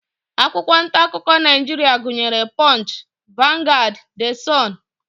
Akwụkwọ ntaakụkọ Naijiria gụnyere punch, vanguard, the sun